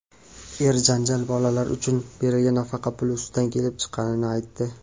er janjal bolalar uchun berilgan nafaqa puli ustida kelib chiqqanini aytdi.